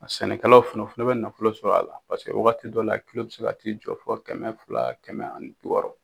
A sɛnɛkɛlaw fana o fana bɛ nafolo sɔrɔ a la paseke waati dɔ la bɛ se ka t'i jɔ fɔ kɛmɛ fila kɛmɛ ani bi wɔɔrɔ.